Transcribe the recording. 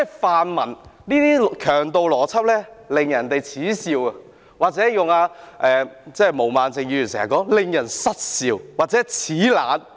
泛民這種強盜邏輯惹人耻笑，或者，借用毛孟靜議員經常說的話，是：令人失笑或齒冷。